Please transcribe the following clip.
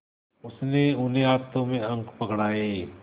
उसने उन्हें हाथों में अंक पकड़ाए